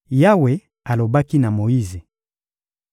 Yawe alobaki na Moyize: